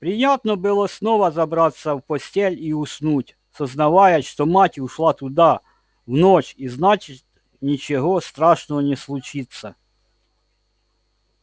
приятно было снова забраться в постель и уснуть сознавая что мать ушла туда в ночь и значит ничего страшного не случится